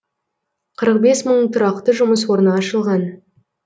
қырық бес мың тұрақты жұмыс орны ашылған